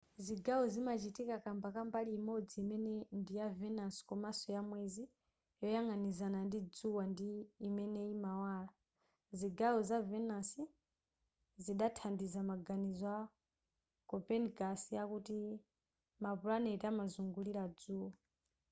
zigawo zimachitika kamba ka mbali imodzi imene ndiya venus komanso ya mwezi yoyang'anizana ndi dzuwa ndi imene imawala. zigawo za venus zidathandiza maganizo a copernicus akuti ma pulaneti amazungulira dzuwa